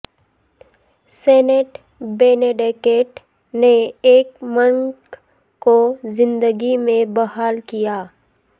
Saint Benedict نے ایک monk کو زندگی میں بحال کیا